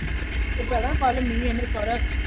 ਤੇ ਭੈਣਾਂ ਕੱਲ੍ਹ ਮੀਂਹ ਇਹਨੇ ਸਾਰਾ।